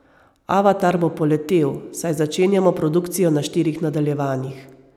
Avatar bo poletel, saj začenjamo produkcijo na štirih nadaljevanjih.